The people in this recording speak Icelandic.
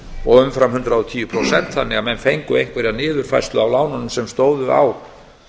og umfram hundrað og tíu prósent þannig að menn fengu einhverja niðurfærslu á lánunum sem stóðu á